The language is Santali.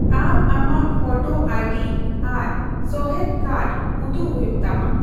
ᱟᱢ ᱟᱢᱟᱜ ᱯᱷᱚᱴᱚ ᱟᱭᱰᱤ ᱟᱨ ᱥᱚᱦᱮᱫ ᱠᱟᱨᱰ ᱩᱫᱩᱜ ᱦᱩᱭᱩᱜ ᱛᱟᱢᱟ ᱾